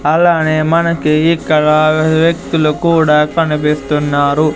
అలానే మనకి ఇక్కడ వ్యక్తులు కూడా కనిపిస్తున్నారు.